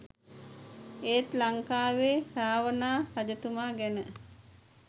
එත් ලංකාවේ රාවණා රජතුමා ගැන